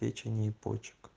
печени и почек